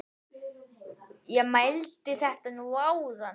Ég mældi þetta nú áðan.